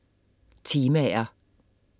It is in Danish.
Temaer